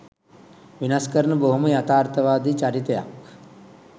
වෙනස් කරන බොහොම යථාර්ථවාදී චරිතයක්.